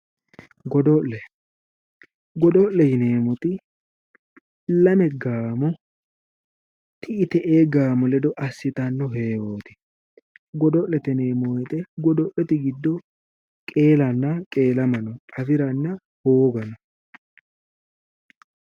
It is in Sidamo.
Godo'le godo'le yineemoti lame gaamo ti'i te'e gaamo ledo asitano heewoti, godo'lete yineemo woyte godo'lete gido qeelana qeelama no afirana hooga no